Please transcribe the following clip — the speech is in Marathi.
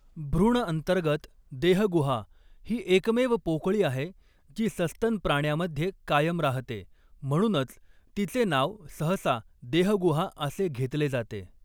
भ्रूण अंतर्गत देहगुहा ही एकमेव पोकळी आहे जी सस्तन प्राण्यामध्ये कायम राहते, म्हणूनच तिचे नाव सहसा 'देहगुहा' असे घेतले जाते.